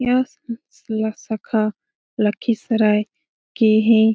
यह ल सखा लखीसराय के है।